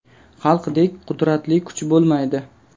Xalqdek qudratli kuch bo‘lmaydi’.